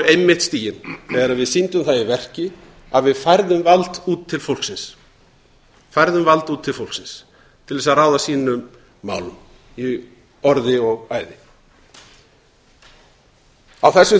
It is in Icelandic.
einmitt stigin þegar við sýndum það í verki að við færðum vald út til fólksins til þess að ráða sínum málum í orði og æði á þessu